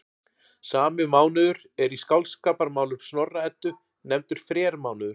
Sami mánuður er í Skáldskaparmálum Snorra-Eddu nefndur frermánuður.